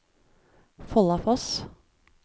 Follafoss